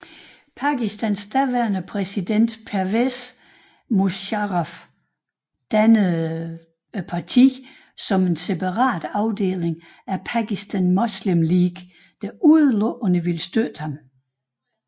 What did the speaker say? Pakistans daværende præsident Pervez Musharraf dannede partiet som en separat afdeling af Pakistan Muslim League der udelukkende ville støtte ham